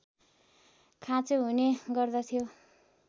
खाँचो हुने गर्दथ्यो